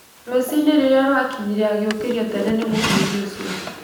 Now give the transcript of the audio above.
Rũcinĩ rirĩa rwakinyire agĩũkĩrio tene mũno nĩ mũthuri ũcio.